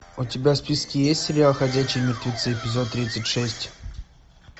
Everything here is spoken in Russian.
у тебя в списке есть сериал ходячие мертвецы эпизод тридцать шесть